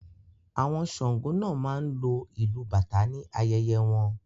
Àwọn Sàngó náà máa ń lo ìlu bàtà ní ayẹyẹ wọn